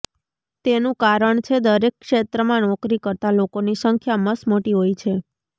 તેનું કારણ છે દરેક ક્ષેત્રમાં નોકરી કરતાં લોકોની સંખ્યા મસમોટી હોય છે